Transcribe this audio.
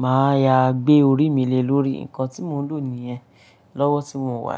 mà á yá gbé orí mí lé lórí nǹkan tí mò ń lò nìyẹn lọ́wọ́ tí mò ń wà.